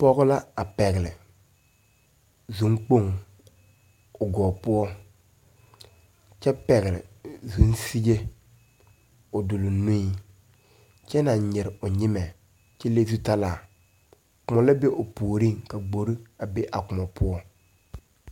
Pɔge la a pɛgle zunkpoŋ o gɔɔ poɔ kyɛ pɛgle zunfige o duluŋ nuiŋ kyɛ naŋ nyire o nyimɛ kyɛ le zutalaa kõɔ la be o puoriŋ ka gbore a be a kõɔ poɔ.